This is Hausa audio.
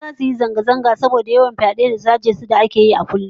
Mata zasu yi zanga-zanga saboda yawan fyade da sace su da ake yawan yi kullum